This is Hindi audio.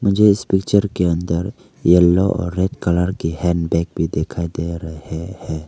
मुझे इस पिक्चर के अंदर येलो और रेड कलर की हैंडबैग भी दिखाई दे रहा है।